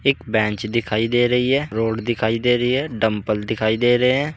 Bench दिखाई दे रही है। रोड दिखाई दे रही है। डम्बल दिखाई दे रहे हैं।